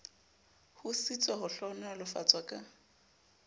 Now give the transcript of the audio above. ho sitswa ho hlohonolofatswa ka